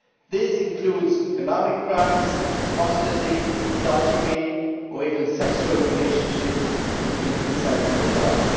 This includes economic crimes, apostasy, adultery or even sexual relationships between consenting adults.